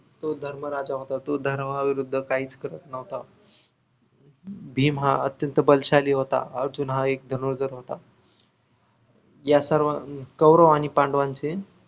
तो धर्मराजा होता तो धर्माविरुद्ध काहीच करत नव्हत भीम हा अत्यंत बलशाली होता अर्जुन हा एक धनुर्धर होत या सर्व अं कौरव आणि पांडवांचे